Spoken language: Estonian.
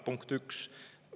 Punkt üks.